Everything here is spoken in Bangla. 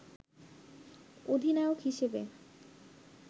অধিনায়ক হিসেবে